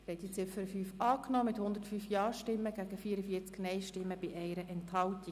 Sie haben die Ziffer 5 angenommen mit 105 Ja- gegen 44 Nein-Stimmen bei 1 Enthaltung.